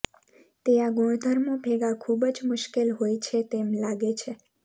તે આ ગુણધર્મો ભેગા ખૂબ જ મુશ્કેલ હોય છે તેમ લાગે છે